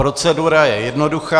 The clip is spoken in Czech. Procedura je jednoduchá.